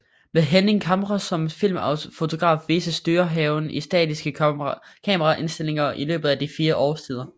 Med Henning Camre som filmfotograf vises Dyrehaven i statiske kameraindstillinger i løbet af de fire årstider